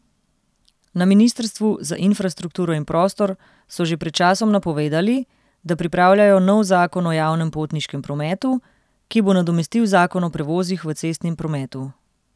Na ministrstvu za infrastrukturo in prostor so že pred časom napovedali, da pripravljajo nov zakon o javnem potniškem prometu, ki bo nadomestil zakon o prevozih v cestnem prometu.